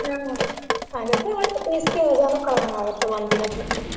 ಹ್ಮ್ ಆಗತ್ತ ಮತ್ ಬೇಸಿಗೆ ರಜಾನು ಕಳದಂಗ್ ಆಗತ್ತ ಒಂದಿನದ್ದ್.